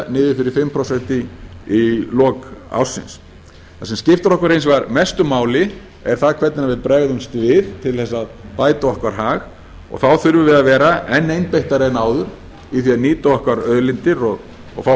niður fyrir fimm prósent í lok ársins það sem skiptir okkur hins vegar mestu máli er það hvernig við bregðumst við til þess að bæta okkar hag og þá þurfum við að vera enn einbeittari en áður í því að nýta okkar auðlindir og fá